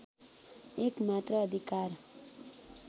एकमात्र अधिकार